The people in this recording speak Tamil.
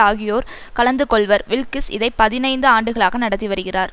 ஆகியோர் கலந்து கொள்வர் வில்க்கிஸ் இதை பதினைந்து ஆண்டுகளாக நடத்தி வருகிறார்